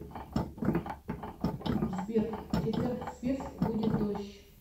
сбер в четверг в свирск будет дождь